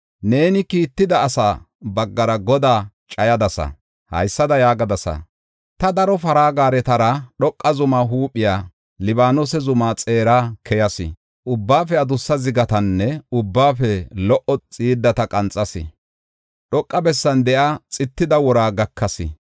Neeni kiitida asaa baggara Godaa cayadasa. Haysada yaagadasa: ‘Ta daro para gaaretara dhoqa zumaa huuphiya, Libaanose zuma xeera keyas. Ubbaafe adussa zigatanne ubbaafe lo77o xiiddata qanxas. Dhoqa bessan de7iya xittida wora gakas.